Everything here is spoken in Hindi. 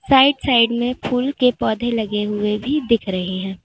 साइड साइड में फूल के पौधे लगे हुए भी दिख रहे हैं।